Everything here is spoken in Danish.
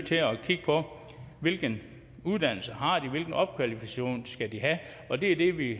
til at kigge på hvilken uddannelse de har hvilken opkvalificering de skal have og det er det vi